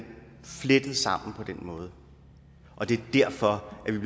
flettet sammen på den måde og det er derfor vi